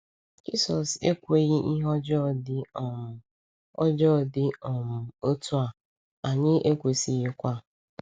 Jisọs ekweghị ihe ọjọọ dị um ọjọọ dị um otu a, anyị kwesịghịkwa.